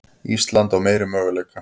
Ísland á meiri möguleika